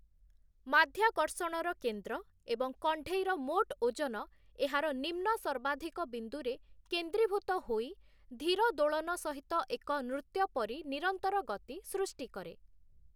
ମାଧ୍ୟାକର୍ଷଣର କେନ୍ଦ୍ର ଏବଂ କଣ୍ଢେଇର ମୋଟ ଓଜନ ଏହାର ନିମ୍ନ-ସର୍ବାଧିକ ବିନ୍ଦୁରେ କେନ୍ଦ୍ରୀଭୂତ ହୋଇ, ଧୀର ଦୋଳନ ସହିତ ଏକ ନୃତ୍ୟ ପରି ନିରନ୍ତର ଗତି ସୃଷ୍ଟି କରେ ।